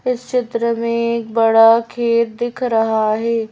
इस चित्र में एक बड़ा खेत दिख रहा है।